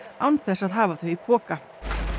án þess að hafa þau í poka